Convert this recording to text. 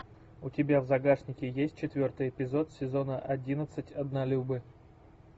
у тебя в загашнике есть четвертый эпизод сезона одиннадцать однолюбы